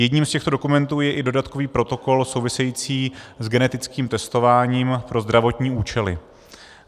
Jedním z těchto dokumentů je i dodatkový protokol související s genetickým testováním pro zdravotní účely.